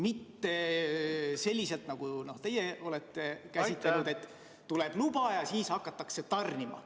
Mitte selliselt, nagu teie olete plaaninud, et tuleb luba ja siis hakatakse tarnima.